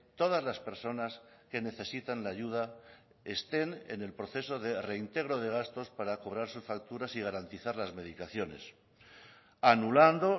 todas las personas que necesitan la ayuda estén en el proceso de reintegro de gastos para cobrar sus facturas y garantizar las medicaciones anulando